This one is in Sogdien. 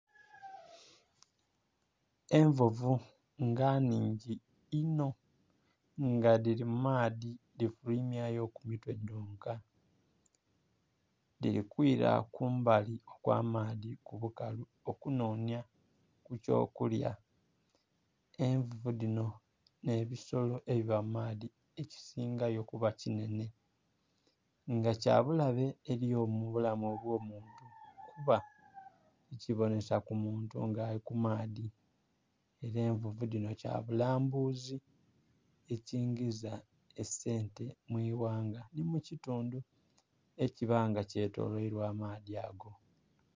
Envuvu nga nnhingi inho nga dhili mu maadhi dhifulwimya yo mitwe dhonka, dhili kwila kumbali okwa maadhi ku bukalu okunonhya ku kyo kulya. Envuvu dhino nhe ebisolo ebiba mu maadhi ekisingayo kuba kinene nga kya bulabe eri mubulamu obwo muntu kuba tikibonhesa ku muntu nga ali mu maadhi era envuvu dhinho kya bulambuzi ekingiza esente mwi ghanga nhi mu kitundhu eki a nga kyetolweilwa amaadhi ago.